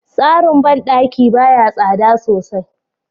Tsarin bandaki baya tsada sosai.